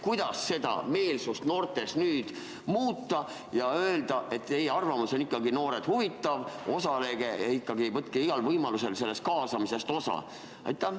Kuidas seda noorte meelsust nüüd muuta ja öelda, et teie arvamus, noored, on ikkagi huvitav, osalege ja võtke igal võimalusel sellest kaasamisest osa?